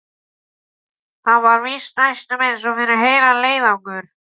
Það var víst næstum eins og fyrir heilan leiðangur.